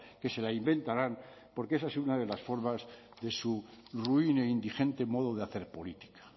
que se la inventarán porque esa es una de las formas de su ruin e indigente modo de hacer política